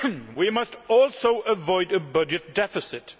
We must also avoid a budget deficit.